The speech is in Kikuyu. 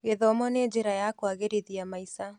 Gĩthomo nĩ njĩra ya kũagĩrithia maica.